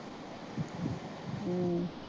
ਹਮ